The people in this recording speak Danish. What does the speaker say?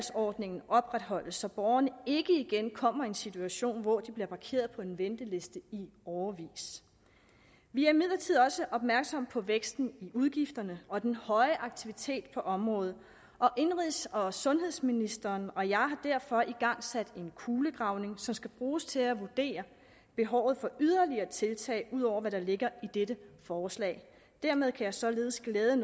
ordningen opretholdes så borgerne ikke igen kommer i en situation hvor de bliver parkeret på en venteliste i årevis vi er imidlertid også opmærksomme på væksten i udgifterne og den høje aktivitet på området og indenrigs og sundhedsministeren og jeg har derfor igangsat en kulegravning som skal bruges til at vurdere behovet for yderligere tiltag ud over hvad der ligger i dette forslag dermed kan jeg således glæde